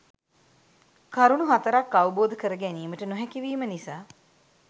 කරුණු හතරක් අවබෝධ කර ගැනීමට නොහැකිවීම නිසා